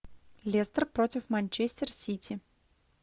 лестер против манчестер сити